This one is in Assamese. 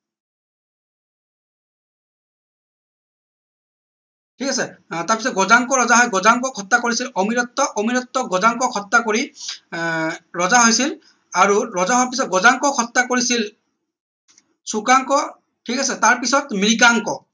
ঠিক আছে আহ তাৰ পিছত গজাংক ৰজা হয় গজাংক হত্যা কৰিছিল অমিৰত্ত অমিৰত্তক গজাংকক হত্যা কৰি আহ ৰজা হৈছিল আৰু ৰজা হোৱাৰ পিছত গজাংকক হত্যা কৰিছিল চুকাংক ঠিক আছে তাৰ পিছত মৃগাংক